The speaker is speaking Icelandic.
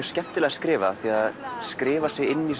skemmtilega skrifað af því að það skrifar sig inn í